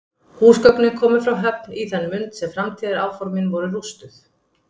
Húsgögnin komu frá Höfn í það mund sem framtíðaráformin voru rústuð.